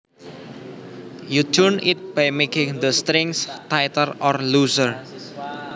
You tune it by making the strings tighter or looser